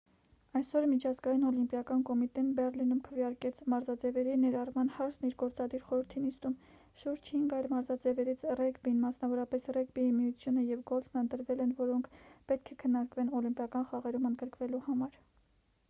այսօր միջազգային օլիմպիական կոմիտեն բեռլինում քվեարկեց մարզաձևերի ներառման հարցն իր գործադիր խորհրդի նիստում շուրջ հինգ այլ մարզաձևերից ռեգբին մասնավորապես ռեգբիի միությունը և գոլֆն ընտրվել են որոնք պետք է քննարկվեն օլիմպիական խաղերում ընդգրկվելու համար